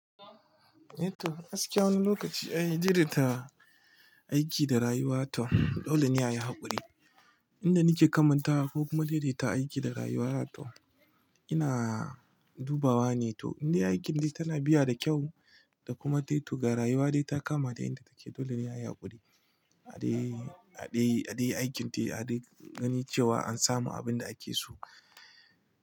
Eh toh, gaskiya wani lokaci ai dai dai ta aiki da rayuwa toh dole ne a yi haƙuri. Inda nike kamantawa ko kuma daidaita aiki da rayuwa toh ina dubawa ne toh inda aikin dai tana biya da kyau da kuma taituka rayuwa dai ta kama da inda take dole ne a yi haƙuri. A dai, a dai, a dai aikin dai a dai gani cewa an samu abin da ake so.